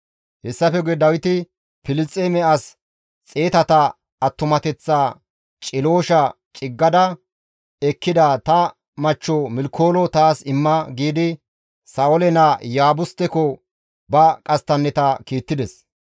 Hessafe guye Dawiti, «Filisxeeme as xeetata attumateththaa ciloosha ciggada ekkida ta machcho Milkoolo taas imma» giidi Sa7oole naa Iyaabusteko ba qasttanneta kiittides.